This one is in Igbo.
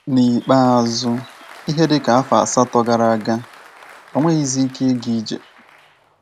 N’ikpeazụ, ihe dị ka afọ asatọ gara aga, o nweghịzi ike ịga ije.